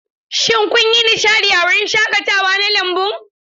Shin kun yi nishadi a wurin shaƙatawa na lambun?